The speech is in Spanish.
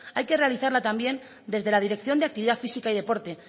hay que realizarla también desde la dirección de actividad física y deporte